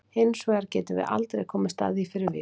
Hins vegar getum við aldrei komist að því fyrir víst.